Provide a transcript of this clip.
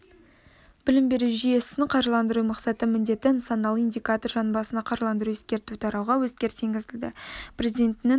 білім беру жүйесін қаржыландыру мақсаты міндеті нысаналы индикатор жан басына қаржыландыру ескерту тарауға өзгеріс енгізілді президентінің